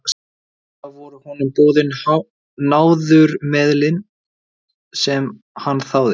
Eftir það voru honum boðin náðarmeðulin sem hann þáði.